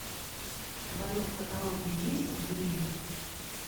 в твоем каталоге есть гримм